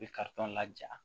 I bɛ laja